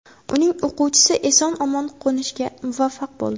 Uning o‘quvchisi eson-omon qo‘nishga muvaffaq bo‘ldi.